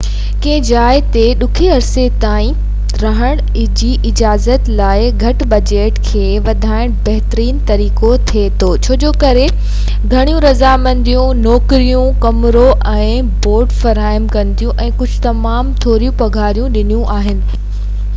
ڪنهن جاءِ تي ڊگهي عرصي تائين رهن جي اجازت لاءِ هڪ بجيٽ کي وڌائن بھترين طريقو ٿي سگھي ٿو ڇو ته گهڻيون رضاڪاراڻيون نوڪريون ڪمرو ۽ بورڊ فراهم ڪن ٿيون ۽ ڪجھ تمام ٿوڙي پگهار ڏينديون آهن